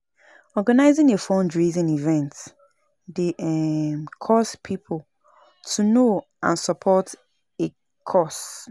Organizing a fundraising event dey um cause pipo to know and support a cause.